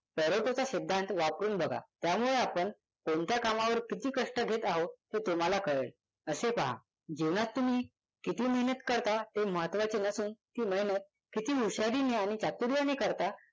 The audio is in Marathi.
पॅरेटोचा सिद्धांत वापरून बघा त्यामुळे आपण कोणत्या कामावर किती कष्ट घेत आहोत हे तुम्हाला कळेल असे पहा जीवनात तुम्ही किती मेहनत करता ते महत्वाचे नसून ती मेहनत किती हुशारीने आणि चातुर्याने करता